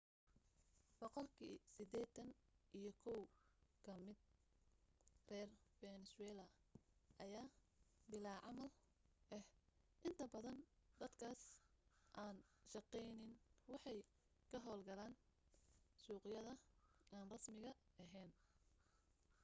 boqolkii sideetani iyo kow ka mida reer fenesweela ayaa bilaa camal ah inta badan dadkaas aan shaqayni waxay ka hawlgalaan suuqyada aan rasmiga ahayn